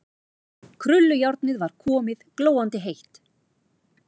Krullujárnið var komið, glóandi heitt.